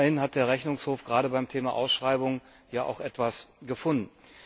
Immerhin hat der Rechnungshof gerade beim Thema Ausschreibung ja auch etwas gefunden.